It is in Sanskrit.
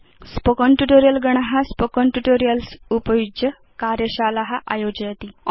स्पोकेन ट्यूटोरियल् गण स्पोकेन ट्यूटोरियल्स् उपयुज्य कार्यशाला आयोजयति